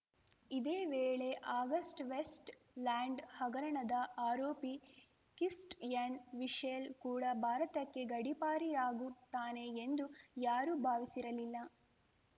ಇದೇ ವೇಳೆ August Westland ಹಗರಣದ ಆರೋಪಿ ಕಿಸ್ಟಿಯನ್‌ ಮಿಶೆಲ್‌ ಕೂಡ ಭಾರತಕ್ಕೆ ಗಡೀಪಾರಿಯಾಗುತ್ತಾನೆ ಎಂದು ಯಾರೂ ಭಾವಿಸಿರಲಿಲ್ಲ